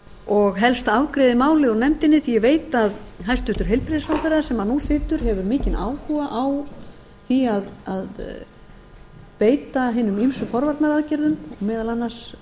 og helst afgreiði málið úr nefndinni því að ég veit að hæstvirtur heilbrigðisráðherra sem nú situr hefur mikinn áhuga á því að beita hinum ýmsu forvarnaraðgerðum meðal annars